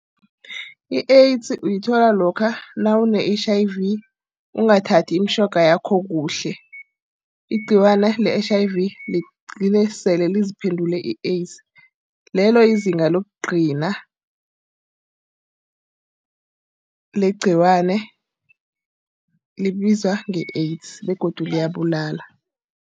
I-AIDS uyithola lokha nawune-H_I_V ukungathathi imitjhoga yakho kuhle. Igciwana le-H_I_V ligcine sele liziphendule i-AIDS. Lelo lizinga lokugcina legciwane, libizwa nge-AIDS begodu liyabulala.